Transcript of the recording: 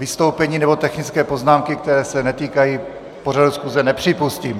Vystoupení nebo technické poznámky, které se netýkají pořadu schůze, nepřipustím.